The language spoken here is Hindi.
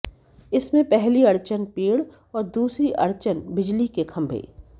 इनमें पहली अड़चन पेड़ और दूसरी अड़चन बिजली के खंभे